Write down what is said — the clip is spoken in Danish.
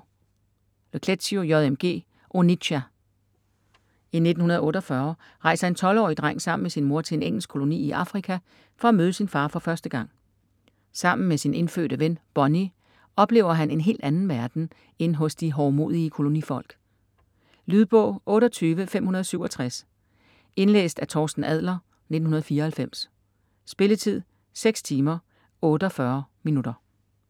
Le Clézio, J. M. G.: Onitsha I 1948 rejser en 12-årig dreng sammen med sin mor til en engelsk koloni i Afrika for at møde sin far for første gang. Sammen med sin indfødte ven, Bony, oplever han en helt anden verden end hos de hovmodige kolonifolk. Lydbog 28567 Indlæst af Torsten Adler, 1994. Spilletid: 6 timer, 48 minutter.